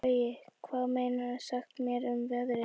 Gaui, hvað geturðu sagt mér um veðrið?